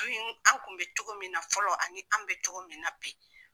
an kun be cogo min na fɔlɔ, ani an be cogo min na bi